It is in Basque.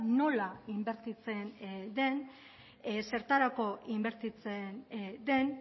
nola inbertitzen den zertarako inbertitzen den